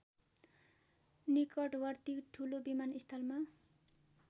निकटवर्ती ठुलो विमानस्थलमा